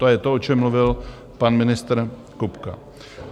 To je to, o čem mluvil pan ministr Kupka.